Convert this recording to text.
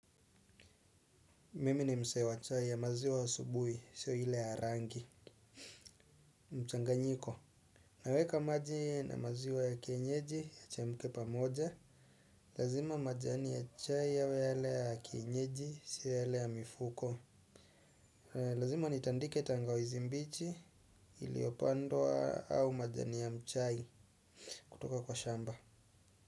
Mimi ni msee wa chai ya maziwa asubuhi siyo ile ya rangi. Mchanganyiko naweka maji na maziwa ya kienyeji yachemuke pamoja. Lazima majani ya chai yawe yale ya kienyeji siyo yale ya mifuko. Lazima nitandike tangawizi mbichi iliyopandwa au majani ya mchai kutoka kwa shamba.